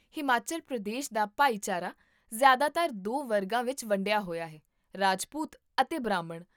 ਹਿਮਾਚਲ ਪ੍ਰਦੇਸ਼ ਦਾ ਭਾਈਚਾਰਾ ਜ਼ਿਆਦਾਤਰ ਦੋ ਵਰਗਾਂ ਵਿੱਚ ਵੰਡਿਆ ਹੋਇਆ ਹੈ ਰਾਜਪੂਤ ਅਤੇ ਬ੍ਰਾਹਮਣ